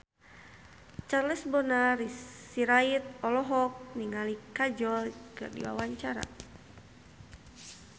Charles Bonar Sirait olohok ningali Kajol keur diwawancara